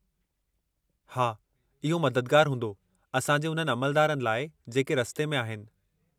हा, इहो मददगारु हूंदो असां जे उन्हनि अमलदारनि लाइ जेके रस्ते में आहिनि।